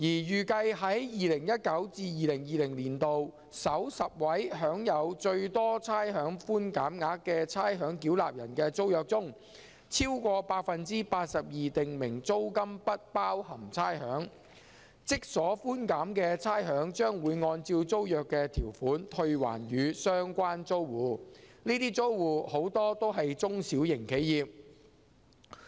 預計在 2019-2020 年度首10位享有最多差餉寬減額的差餉繳納人的租約中，超過 82% 訂明租金不包含差餉，即所寬減的差餉將會按照租約的條款退還予相關租戶，這些租戶很多都是中小型企業。